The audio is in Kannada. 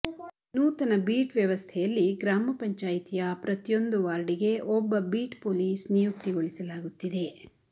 ನೂತನ ಬೀಟ್ ವ್ಯವಸ್ಥೆಯಲ್ಲಿ ಗ್ರಾಮ ಪಂಚಾಯಿತಿಯ ಪ್ರತಿಯೊಂದು ವಾರ್ಡಿಗೆ ಒಬ್ಬ ಬೀಟ್ ಪೊಲೀಸ್ ನಿಯುಕ್ತಿಗೊಳಿಸಲಾಗುತ್ತಿದೆ